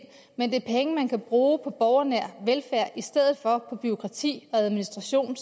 men det er penge man kan bruge på borgernær velfærd i stedet for på bureaukrati og administration